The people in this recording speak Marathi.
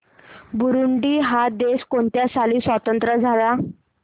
बुरुंडी हा देश कोणत्या साली स्वातंत्र्य झाला